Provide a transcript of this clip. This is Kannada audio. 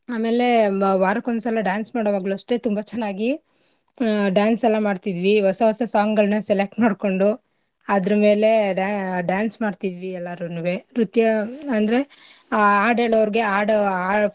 ಆಮೇಲೆ ಮ ವಾರಕ್ ಒಂದು ಸಲ dance ಮಾಡೋವಾಗ್ಲೂ ಅಷ್ಟೇ ತುಂಬಾ ಚೆನ್ನಾಗಿ ಆಹ್ dance ಎಲ್ಲಾ ಮಾಡ್ತಿದ್ವಿ ಹೊಸ ಹೊಸಾ song ಗಳ್ನೆಲ್ಲಾ select ಮಾಡ್ಕೊಂಡು ಅದ್ರ ಮೇಲೆ dance ಮಾಡ್ತಿದ್ವಿ ಎಲ್ಲರೂವೆ ನೃತ್ಯ ಅಂದ್ರೆ ಆಡ್ ಎಳೋರ್ಗೆ ಆಡ್ ಆ.